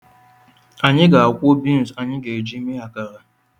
Anyị ga-akwu agwa anyị ga-eji eme akara